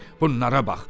Bunlara bax.